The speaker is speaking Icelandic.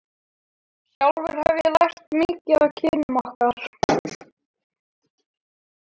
Sjálfur hef ég lært mikið af kynnum okkar.